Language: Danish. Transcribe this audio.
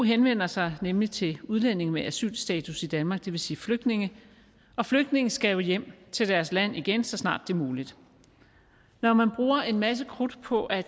henvender sig nemlig til udlændinge med asylstatus i danmark det vil sige flygtninge og flygtninge skal jo hjem til deres land igen så snart det er muligt når man bruger en masse krudt på at